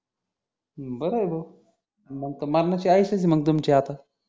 अं बर आहे भाऊ मग त मरनाची आईश असेल तुमची आता